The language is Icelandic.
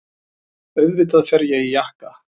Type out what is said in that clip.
Auðvitað fer ég í jakka.